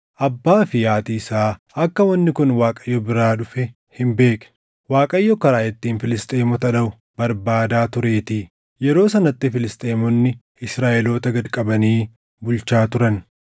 Abbaa fi haatii isaa akka wanni kun Waaqayyo biraa dhufe hin beekne; Waaqayyo karaa ittiin Filisxeemota dhaʼu barbaadaa tureetii. Yeroo sanatti Filisxeemonni Israaʼeloota gad qabanii bulchaa turan.